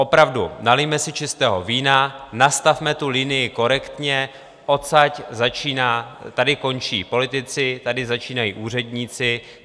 Opravdu, nalijme si čistého vína, nastavme tu linii korektně: odsud začíná, tady končí politici, tady začínají úředníci.